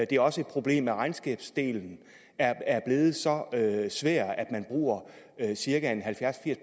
det er også et problem at regnskabsdelen er blevet så svær at man bruger cirka halvfjerds til